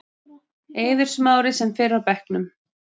Eiður Smári sem fyrr á bekknum